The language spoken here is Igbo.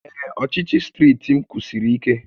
Ee, ọchịchị steeti m kwụsiri ike